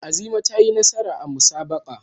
Azima za ta yi nasara a musabaqahn.